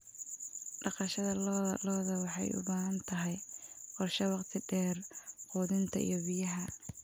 Dhaqashada lo'da lo'da waxay u baahan tahay qorshe waqti dheer quudinta iyo biyaha.